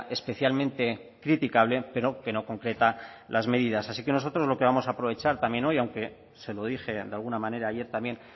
especialmente criticable pero que no concreta las medidas así que nosotros lo que vamos a aprovechar también hoy aunque se lo dije de alguna manera ayer también